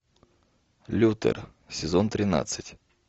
лютер сезон тринадцать